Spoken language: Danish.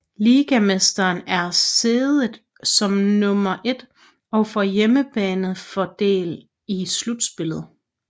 Ligamesteren er seedet som nummer et og får hjemmebane fordel i slutspillet